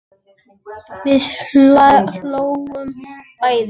Við hlógum bæði.